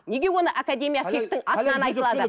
неге оны академия фих тың атынан айтылады